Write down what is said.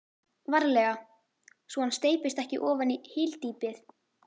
VARLEGA svo hann steypist ekki ofan í hyldýpið.